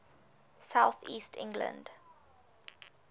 south east england